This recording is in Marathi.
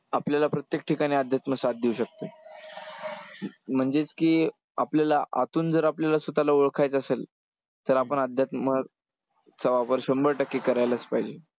आपल्याला प्रत्येक ठिकाणी अध्यात्म साथ देऊ शकतं. म्हणजेच की आपल्याला आतून जर आपल्याला स्वतःला ओळखायचं असेल तर आपण अध्यात्म चा वापर शंभर टक्के करायलाच पाहिजे.